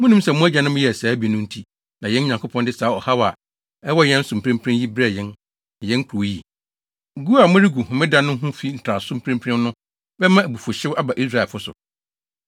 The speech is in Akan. Munnim sɛ mo agyanom yɛɛ saa bi no nti na yɛn Nyankopɔn de saa ɔhaw a ɛwɔ yɛn so mprempren yi brɛɛ yɛn ne yɛn kurow yi? Gu a moregu Homeda no ho fi ntraso mprempren no bɛma abufuwhyew aba Israelfo so.”